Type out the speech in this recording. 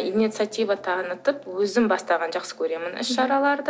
инициатива танытып өзім бастағанды жақсы көремін іс шараларды